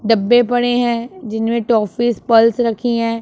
डब्बे पड़े हैं जिनमें टॉफीस पल्स रखी हैं।